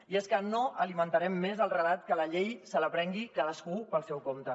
i és que no alimentarem més el relat que la llei se la prengui cadascú pel seu compte